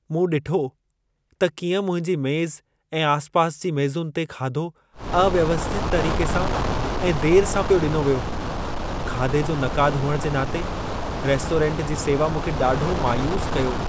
मूं ॾिठो त कींअ मुंहिंजी मेज़ु ऐं आसिपासि जी मेज़ुनि ते खाधो अव्यवस्थितु तरीक़े सां ऐं देर सां पियो ॾिनो वियो। खाधे जो नक़ादु हुअणु जे नाते, रेस्टोरेंटु जी सेवा मूंखे ॾाढो मायूस कयो।